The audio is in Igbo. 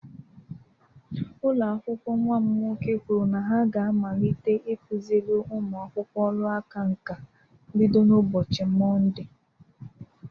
Ụlọ akwụkwọ nnwa m nwoke kwuru na ha ga-amalite ịkụziri ụmụ akwụkwọ ọrụ aka nka bido n'ụbọchị Mọnde